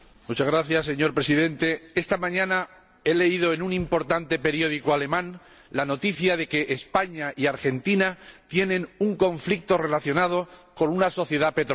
Señor Presidente, esta mañana he leído en un importante periódico alemán la noticia de que España y Argentina tienen un conflicto relacionado con una sociedad petrolera.